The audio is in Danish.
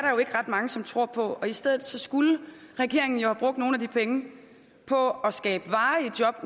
jo ikke ret mange som tror på og i stedet skulle regeringen have brugt nogle af de penge på at skabe varige jobs